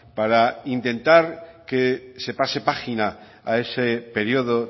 para intentar que se pase página a ese periodo